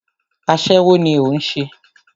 Aṣẹ́wó ní o ń ṣe.